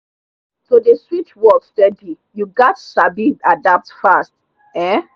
to dey switch work steady you gats sabi adapt fast. um